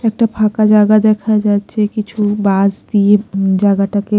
একটা ফাঁকা জাগা দেখা যাচ্ছে কিছু বাঁশ দিয়ে উম জাগাটাকে--